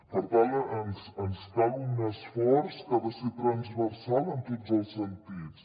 per tant ens cal un esforç que ha de ser transversal en tots els sentits